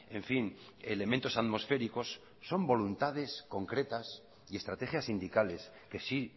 en fin elementos atmosféricos son voluntades concretas y estrategias sindicales que sí